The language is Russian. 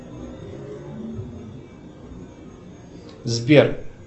сбер